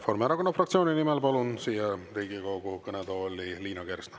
Palun siia Riigikogu kõnetooli Reformierakonna fraktsiooni nimel kõnelema Liina Kersna.